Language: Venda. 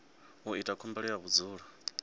u ita khumbelo ya vhudzulo